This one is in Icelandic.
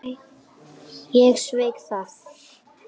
Ég sveik það.